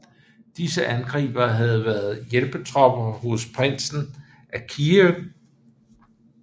Disse angribere havde været hjælpetropper hos prinsen af Kiev